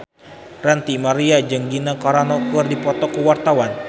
Ranty Maria jeung Gina Carano keur dipoto ku wartawan